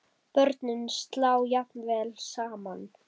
Börnin slá jafnvel saman.